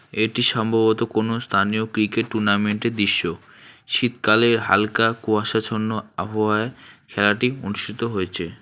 এটি সম্ভবত কোনও স্থানীয় ক্রিকেট টুর্নামেন্টের দৃশ্য শীতকালের হালকা কুয়াশাচ্ছন্ন আবহাওয়া খেলাটি অনুষ্ঠিত হয়েছে।